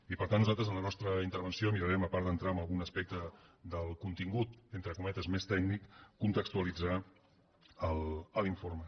i per tant nosaltres en la nostra intervenció mirarem a part d’entrar en algun aspecte del contingut entre cometes més tècnic de contextualitzar l’informe